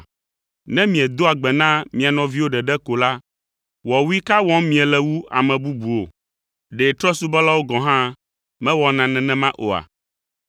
Ne miedoa gbe na mia nɔviwo ɖeɖe ko la, wɔwui ka wɔm miele wu ame bubuwo? Ɖe trɔ̃subɔlawo gɔ̃ hã mewɔna nenema oa?